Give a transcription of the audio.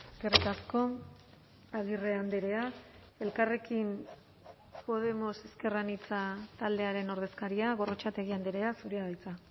eskerrik asko agirre andrea elkarrekin podemos ezker anitza taldearen ordezkaria gorrotxategi andrea zurea da hitza